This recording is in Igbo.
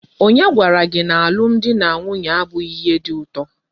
Onye gwara gi na alum di na nwunye abughi ihe di uto?